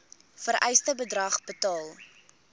vereiste bedrag betaal